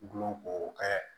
Gulɔ k'o kɛ